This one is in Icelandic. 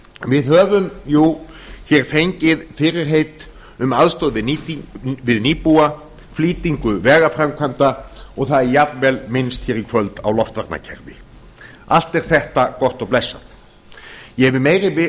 við höfum jú hér fengið fyrirheit um aðstoð við nýbúa flýtingu vegaframkvæmda og það er jafnvel minnst hér í kvöld á loftvarnarkerfi allt er þetta gott og blessað ég hef meiri